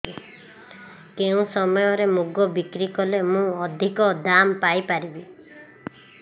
କେଉଁ ସମୟରେ ମୁଗ ବିକ୍ରି କଲେ ମୁଁ ଅଧିକ ଦାମ୍ ପାଇ ପାରିବି